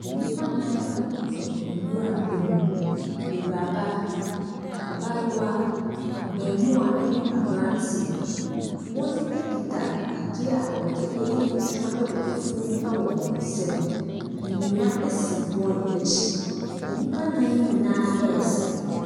Nnipa nan koto nwura mu. Awuraba abaayewa abaamuwa ne abranteɛ. Wɔkita adeɛ a wɔde yɛ adwuma wɔ afuom wɔ wɔn nsam. Nnua si wɔn akyi. Nnipa nan nyinaa resere.